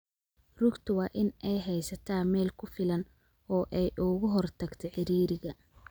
Rugta waa in ay haysataa meel ku filan oo ay uga hortagto ciriiriga.